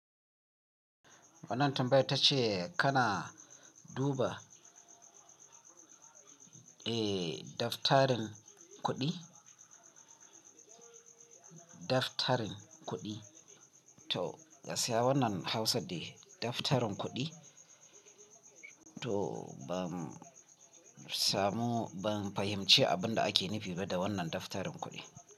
Wannan tambayar tace kana duba, eh, daftarin kuɗi, daftarin kuɗi. To, gaskiya wannan Hausa dai daftarin kuɗi, to ban samu, ban fahimci abin da ake nufi ba da wannan daftarin kuɗi.